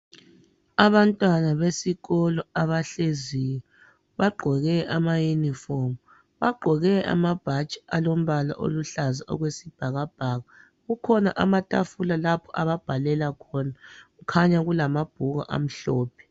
Abantwana besikolo abahleziyo, bagqoke amayunifomu, bagqoke ama bhatshi olombala oluhlaza okwesbhakabhaka. Kukhona amathafula lapho ababhalela khona. Kukhanya kulamabhuku amhlophe.